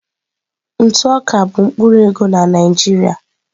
Ntụ oká bụ mkpụrụ ego na Naịjirịa.